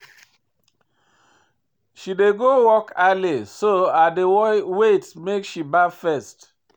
She dey go work early so I dey wait make she baff first.